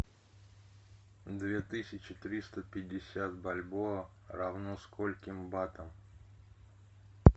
две тысячи триста пятьдесят бальбоа равно скольким батам